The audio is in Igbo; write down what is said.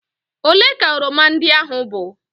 ole ka oroma ndị a bụ?